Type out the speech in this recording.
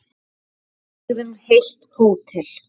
Við leigðum heilt hótel.